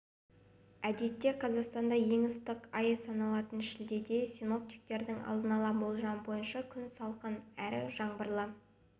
әдетте қазақстанда ең ыстық ай саналатын шілдеде синоптиктердің алдын ала болжамы бойынша күн салқын әрі жаңбырлы